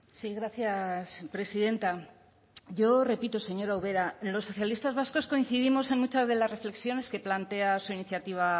sí gracias presidenta yo repito señora ubera los socialistas vascos coincidimos en muchas de las reflexiones que plantea su iniciativa